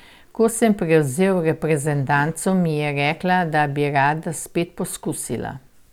Ko sem prevzel reprezentanco, mi je rekla, da bi rada spet poskusila.